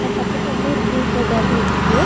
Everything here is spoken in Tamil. அ பக்கத்துல வந்து ஒரு கிரீன் கலர் பாட்டுல்ட்ருக்கு .